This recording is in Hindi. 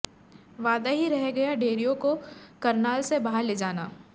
वादा ही रह गया डेरियों को करनाल से बाहर ले जाना